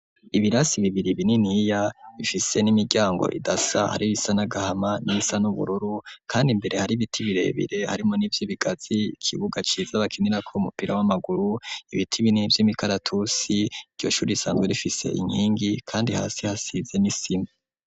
Ibirasi bibiri bininiya bifise n'imiryango idasa hari ibisa n'agahama n'ibisa n'ubururu kandi imbere hari biti birebire harimwo n'ivyibigazi ikibuga ciza bakinirako umupira w'amaguru ibiti binini vy'imikaratusi iryo shuri risanzwe rifise inkingi kandi hasi hasize n'isima.